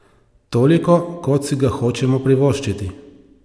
Toliko, kot si ga hočemo privoščiti!